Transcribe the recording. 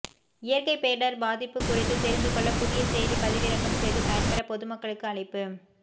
இயற்கை பேரிடர் பாதிப்பு குறித்து தெரிந்து கொள்ள புதிய செயலி பதிவிறக்கம் செய்து பயன்பெற பொதுமக்களுக்கு அழைப்பு